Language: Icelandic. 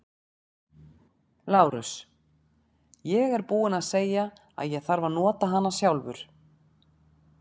LÁRUS: Ég er búinn að segja að ég þarf að nota hana sjálfur.